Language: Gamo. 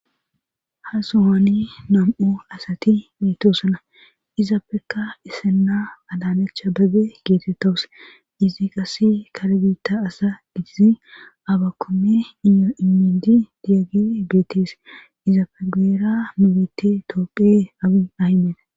Ha sohaani nam'o asati mitosana izaapeka isenna alaalacha begge geetettawus izi qase kare biitta asa digizi abakoome iyo imindi diyage geetees izaafegera mubite tooqe abi ahimena.